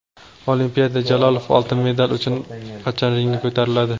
Olimpiada: Jalolov oltin medal uchun qachon ringga ko‘tariladi?.